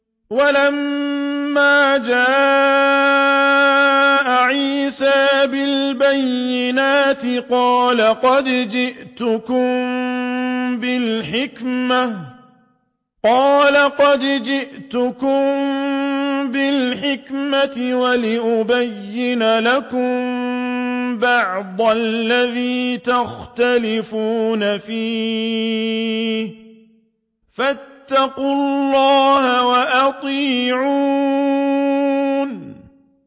وَلَمَّا جَاءَ عِيسَىٰ بِالْبَيِّنَاتِ قَالَ قَدْ جِئْتُكُم بِالْحِكْمَةِ وَلِأُبَيِّنَ لَكُم بَعْضَ الَّذِي تَخْتَلِفُونَ فِيهِ ۖ فَاتَّقُوا اللَّهَ وَأَطِيعُونِ